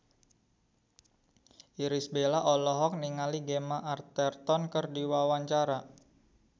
Irish Bella olohok ningali Gemma Arterton keur diwawancara